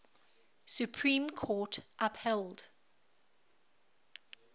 supreme court upheld